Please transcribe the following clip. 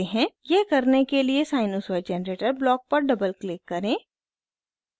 यह करने के लिए sinusoid generator ब्लॉक पर डबल क्लिक करें